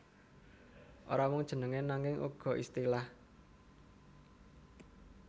Ora mung jeneng nanging uga istilah